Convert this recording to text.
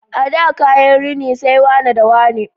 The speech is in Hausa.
A da kaya rini sai wane da wane